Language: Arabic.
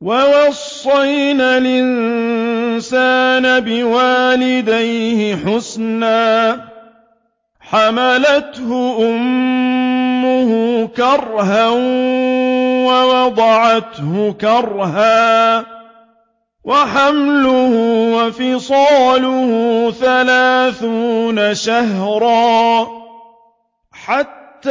وَوَصَّيْنَا الْإِنسَانَ بِوَالِدَيْهِ إِحْسَانًا ۖ حَمَلَتْهُ أُمُّهُ كُرْهًا وَوَضَعَتْهُ كُرْهًا ۖ وَحَمْلُهُ وَفِصَالُهُ ثَلَاثُونَ شَهْرًا ۚ حَتَّىٰ